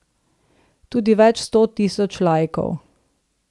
Tudi več sto tisoč laikov.